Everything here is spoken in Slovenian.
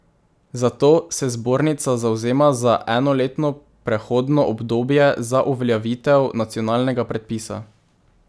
Zato se zbornica zavzema za enoletno prehodno obdobje za uveljavitev nacionalnega predpisa.